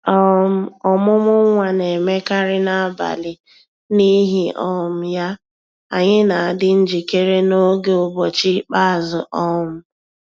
um Ọmụmụ nwa na-emekarị n'abalị, n'ihi um ya, anyị na-adi njikere n’oge ụbọchị ikpeazụ. um